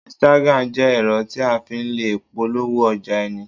Instagram jẹ́ ẹ̀rọ tí a fi le polówó ọjà ẹni